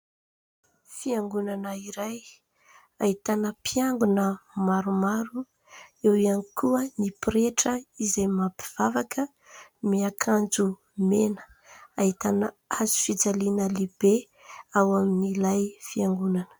Fiangonana iray ahitana mpiangona maromaro ; eo ihany koa ny pretra izay mampivavaka miakanjo mena ; ahitana hazo fijaliana lehibe ao amin'ilay fiangonana.